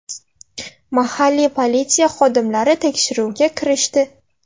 Mahalliy politsiya xodimlari tekshiruvga kirishdi.